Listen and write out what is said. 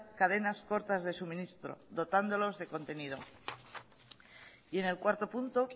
cadenas cortas de suministro dotándolos de contenido y en el cuarto punto